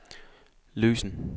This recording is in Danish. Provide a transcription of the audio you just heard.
løsen